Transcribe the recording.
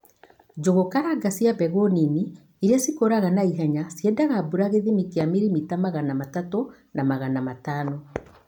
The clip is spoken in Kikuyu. Njũgukaranga cia mbegū nini iria cikūraga na ihenya ciendaga mbura gīthimi kīa milimita magana matatũ na magana matano.